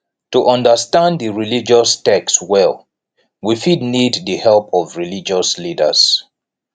to understand di religious text well we fit need di help of religious leaders